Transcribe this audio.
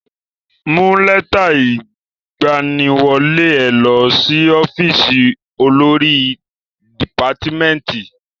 Mú lẹ́tà ìgbaniwọlé ẹ lọ sí ọ́fìsì olórí dìpátmẹ́tì.